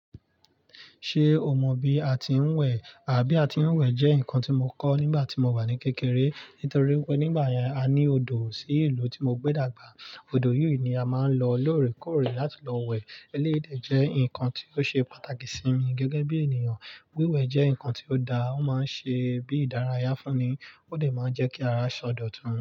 Ṣe o mọ bi a tí ń wẹ̀? Bi a tí ń wẹ̀ jẹ́ ǹkan tí mo kọ́ nígbà tí mo wà ní kékeré. Nítorí pé nígbà yẹn a ní odò sí ìlú tí mo gbé dàgbà. Odò yìí ni a máa ń lo lóòrèkóòrè láti lọ wẹ̀. Eléyi dè jẹ́ ǹkan tí ó ṣe pàtàkì sí mi gẹ́gẹ́ bí ènìyàn. Wíwẹ̀ jẹ́ ǹkan tí ó da, ó máa ń ṣe bí ìdárayá fún ni, ó sì máa ń jẹ́ kí ara ṣọ dọ̀ tun.